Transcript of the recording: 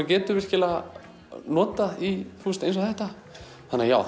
getur virkilega notað í eins og þetta þannig að já